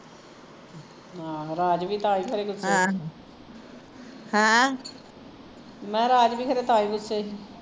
ਆਹੋ ਰਾਜ ਵੀ ਤਾਂ ਹੀਂ ਖਰੇ ਗੁੱਸੇ ਮੈਂ ਕਿਹਾ ਰਾਜ ਵੀ ਤਾਂ ਹੀਂ ਖਰੇ ਗੁੱਸੇ